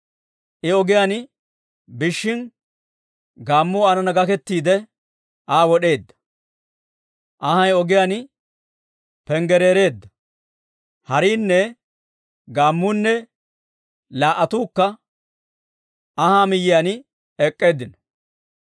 I ogiyaan biishshin gaammuu aanana gakettiide, Aa wod'eedda. Anhay ogiyaan panggaraareedda; hariinne gaammuunne laa"attuukka anhaa miyiyaan ek'k'eeddinno.